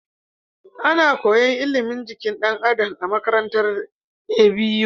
Ana koyan ilimin jikin dan Adam a makarantar ABU